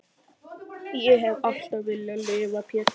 Ég hef alltaf viljað lifa Pétur.